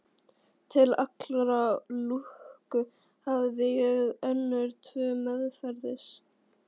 Til allrar lukku hafði ég önnur tvö meðferðis.